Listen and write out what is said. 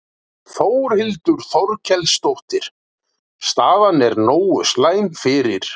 Þórhildur Þorkelsdóttir: Staðan er nógu slæm fyrir?